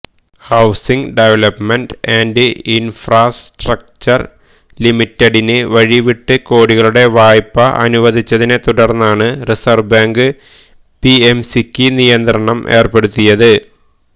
housing development and infrastructure ലിമിററഡിന് വഴിവിട്ട് കോടികളുടെ വായ്പ അനുവദിച്ചതിനെ തുടർന്നാണ് റിസർവ് ബാങ്ക് പിഎംസിക്ക് നിയന്ത്രണം ഏർപ്പെടുത്തിയത്